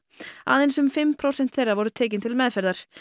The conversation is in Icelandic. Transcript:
aðeins um fimm prósent þeirra voru tekin til meðferðar